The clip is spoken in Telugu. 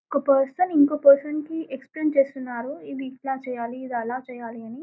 ఒక పర్సన్ ఇంకో పర్సన్ కి ఎక్స్ప్లెయిన్ చేస్తున్నారు ఇది ఇట్ల చేయాలి అది ఆలా చెయ్యాలి అన్ని.